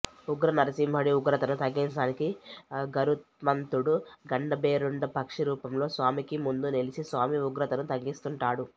ఊగ్రనరసింహుడి ఉగ్రతను తగ్గించడానికి గరుత్మంతుడు గండభేరుండ పక్షి రూపంలో స్వామికి ముందు నిలిచి స్వామి ఉగ్రతను తగ్గిస్తుంటాడు